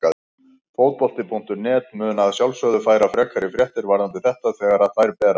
Fótbolti.net mun að sjálfsögðu færa frekari fréttir varðandi þetta þegar að þær berast.